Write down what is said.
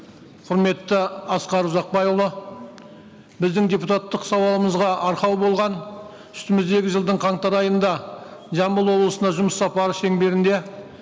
құрметті асқар ұзақбайұлы біздің депутаттық сауалымызға арқау болған үстіміздегі жылдың қаңтар айында жамбыл облысына жұмыс сапары шеңберінде